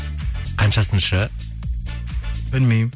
қаншасыншы білмеймін